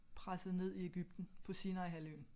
Presset ned i Egypten på Sinai-halvøen